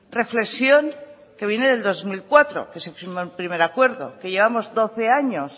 reflexión que viene del dos mil cuatro que se firmó el primer acuerdo que llevamos doce años